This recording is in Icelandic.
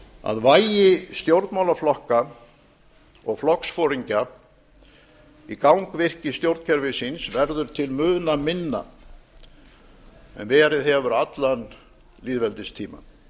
að vægi stjórnmálaflokka og flokksforingja í gangvirki stjórnkerfisins verður til muna minna en verið hefur allan lýðveldistímann